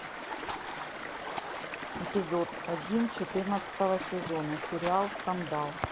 эпизод один четырнадцатого сезона сериал скандал